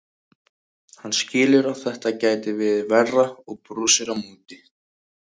Hann skilur að þetta gæti verið verra og brosir á móti.